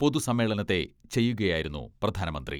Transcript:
പൊതുസമ്മേളനത്തെ ചെയ്യുകയായിരുന്നു പ്രധാനമന്ത്രി.